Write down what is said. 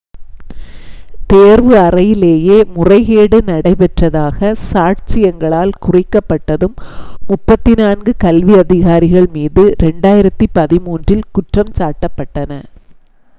தேர்வு அறையிலேயே முறைகேடு நடைபெற்றதாகச் சாட்சியங்களால் குறிக்கப்பட்டதும் 34 கல்வி அதிகாரிகள் மீது 2013-இல் குற்றஞ்சாட்டப்பட்டன